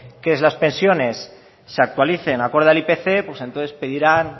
que las pensiones se actualicen acorde al ipc pues entonces pedirán